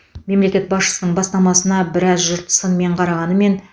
мемлекет басшысының бастамасына біраз жұрт сынмен қарағанымен